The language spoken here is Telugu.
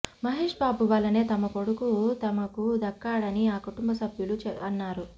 మహేశ్బాబు వలనే తమ కొడుకు తమకు దక్కాడని ఆ కుటుంబసభ్యులు అన్నారు